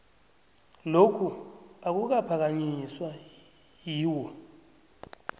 lokhu akukaphakanyiswa yiwho